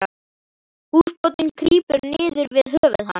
Húsbóndinn krýpur niður við höfuð hans.